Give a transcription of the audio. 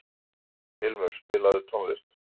Ilmur, spilaðu tónlist.